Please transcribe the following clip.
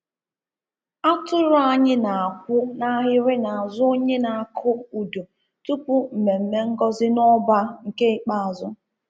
Atụrụ anyị na-akwụ n'ahịrị n'azụ onye na-akụ udu tupu mmemme ngozi n'ọba nke ikpeazụ.